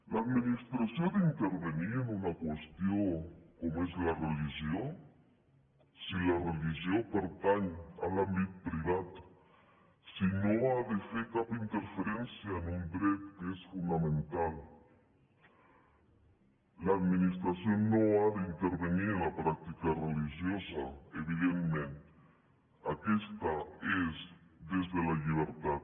l’administració ha d’intervenir en una qüestió com és la religió si la religió pertany a l’àmbit privat si no ha de fer cap interferència en un dret que és fonamental l’administració no ha d’intervenir en la pràctica religiosa evidentment aquesta és des de la llibertat